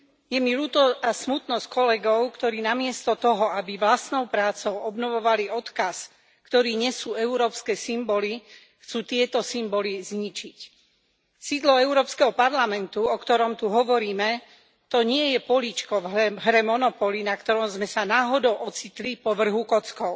Je mi veľmi smutno z kolegov, ktorí namiesto toho, aby vlastnou prácou obnovovali odkaz, ktorý nesú európske symboly, chcú tieto symboly zničiť. Sídlo Európskeho parlamentu, o ktorom tu hovoríme, to nie je políčko v hre Monopoly, na ktorom sme sa náhodou ocitli po vrhu kockou.